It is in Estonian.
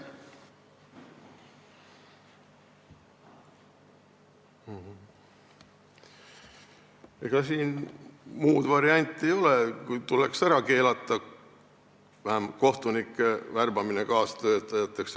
Ega siin muud varianti ei ole, kui tuleks ära keelata vähemalt kohtunike kaastöötajateks värbamine.